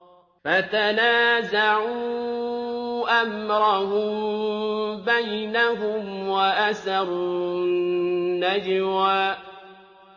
فَتَنَازَعُوا أَمْرَهُم بَيْنَهُمْ وَأَسَرُّوا النَّجْوَىٰ